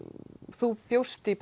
þú bjóst í